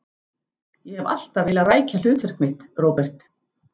Ég hef alltaf vilja rækja hlutverk mitt, Róbert.